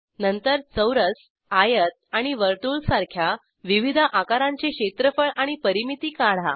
नंतर चौरस आयत आणि वर्तुळ सारख्या विविध आकारांचे क्षेत्रफळ आणि परिमिती काढा